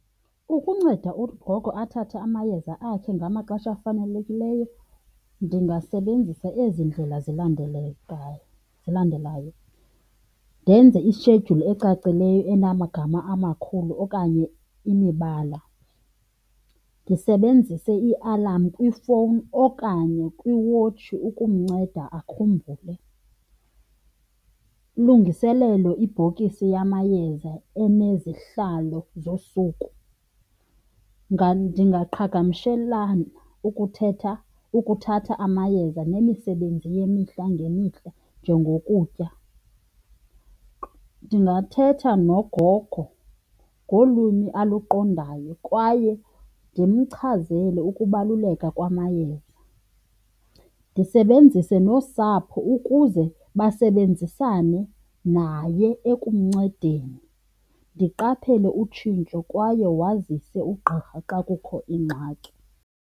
Ukunceda ugogo athathe amayeza akhe ngamaxesha afanelekileyo ndingasebenzisa ezi ndlela zilandelekayo, zilandelayo. Ndenze ishedyuli ecacileyo enamagama amakhulu okanye imibala, ndisebenzise ialamu kwifowuni okanye kwiwotshi ukumnceda akhumbule. Ulungiselelo ibhokisi yamayeza enezihlalo zosuku. Ndingaqhagamshelana ukuthatha amayeza nemisebenzi yemihla ngemihla, njengokutya. Ndingathetha nogogo ngolwimi aluqondayo kwaye ndimchazele ukubaluleka kwamayeza, ndisebenzise nosapho ukuze basebenzisane naye ekumncedeni, ndiqaphele utshintsho kwaye wazise ugqirha xa kukho ingxaki.